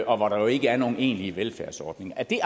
og hvor der jo ikke er nogen egentlig velfærdsordning er det